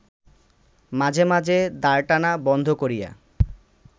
মাঝে মাঝে দাঁড়টানা বন্ধ করিয়া